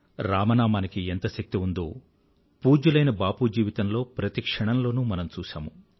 రామనామానికి ఎంత శక్తి ఉందో పూజ్యులైన బాపూ జీవితంలో ప్రతి క్షణంలోనూ మనం చూశాము